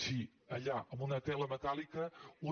si allà en una tela metàl·lica una